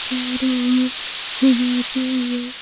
चारों और घुमाते हुए--